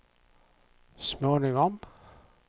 småningom